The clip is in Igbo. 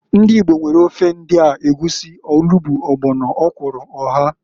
Ndi Igbo nwere ofe ndia, egwusi, olugbu, ọgbọno, ọkwụrụ, oha.